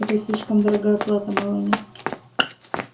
это слишком дорогая плата мелани